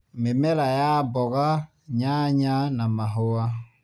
Mĩmera ya mboga, nyanya na mahũa.